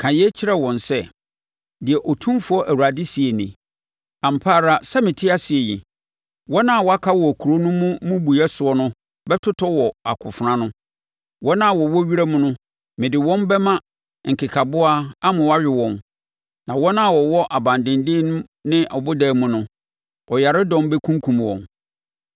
“Ka yei kyerɛ wɔn sɛ, ‘Deɛ Otumfoɔ Awurade seɛ nie: Ampa ara sɛ mete ase yi, wɔn a wɔaka wɔ kuro no mmubuiɛ soɔ no bɛtotɔ wɔ akofena ano. Wɔn a wɔwɔ wiram no mede wɔn bɛma nkekaboa ama wɔawe wɔn na wɔn a wɔwɔ abandenden ne abodan mu no, ɔyaredɔm bɛkunkum wɔn.